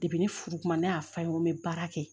Depi ne furu kuma ne y'a f'a ye n ko n bɛ baara kɛ